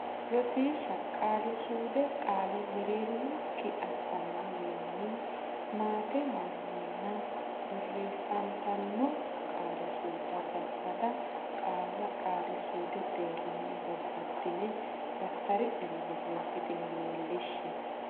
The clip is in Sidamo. Rosiishsha Qaali suude Qaale mereer ino kki ass anno wii nni maate wii nni nna borr eess ant anno Qaali suude Babbada qaalla qaali suudu deerrinni babbaddine daftari nera borreessitine leellishshe.